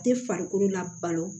Tɛ farikolo la balo